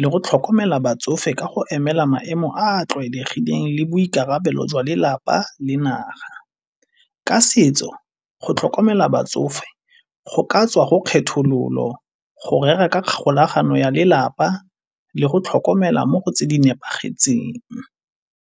le go tlhokomela batsofe ka go emela maemo a a tlwaelegileng le boikarabelo jwa lelapa le naga. Ka setso go tlhokomela batsofe go ka tswa go kgethololo, go rera ka kgolagano ya lelapa le go tlhokomela mo go tse di nepagetseng.